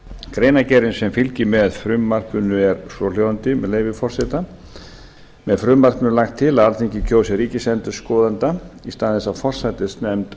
greinargerðin sem fylgir með frumvarpinu er svohljóðandi með leyfi forseta með frumvarpinu er lagt til að alþingi kjósi ríkisendurskoðanda í stað þess að forsætisnefnd